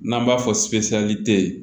N'an b'a fɔ